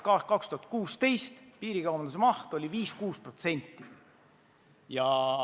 Aastal 2016 oli piirikaubanduse maht 5–6%.